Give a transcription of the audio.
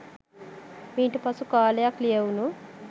මීට පසු කාලයක් ලියැවුණු